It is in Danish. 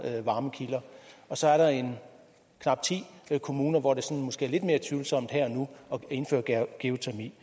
varmekilder og så er der knap ti kommuner hvor det sådan måske er lidt mere tvivlsomt her og nu at indføre geotermi